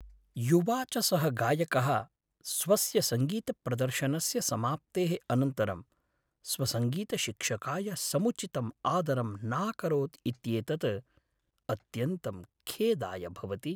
युवा च सः गायकः स्वस्य सङ्गीतप्रदर्शनस्य समाप्तेः अनन्तरं स्वसङ्गीतशिक्षकाय समुचितं आदरं नाकरोत् इत्येतत् अत्यन्तं खेदाय भवति।